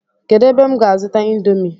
Kedu ebe m ga azuta indomi?